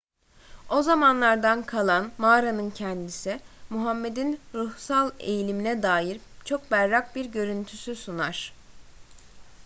o zamanlardan kalan mağaranın kendisi muhammed'in ruhsal eğilimine dair çok berrak bir görüntüsü sunar